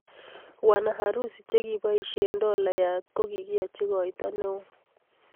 Wanaharusi che ki poishee dolaiyat ko kikiachi koitoo nee oo